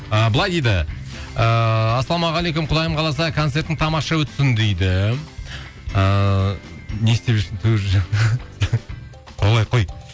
ы былай дейді ыыы ассалаумағалейкум құдайым қаласа концертің тамаша өтсін дейді